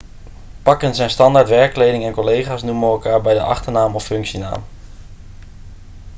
pakken zijn standaard werkkleding en collega's noemen elkaar bij de achternaam of functienaam